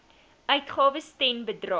uitgawes ten bedrae